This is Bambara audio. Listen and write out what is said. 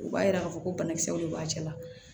U b'a yira k'a fɔ ko banakisɛw de b'a cɛ la